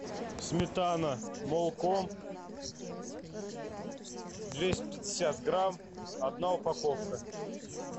сметана молко двести пятьдесят грамм одна упаковка